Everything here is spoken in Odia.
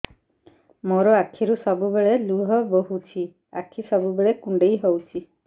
ମୋର ଆଖିରୁ ସବୁବେଳେ ଲୁହ ବୋହୁଛି ଆଖି ସବୁବେଳେ କୁଣ୍ଡେଇ ହଉଚି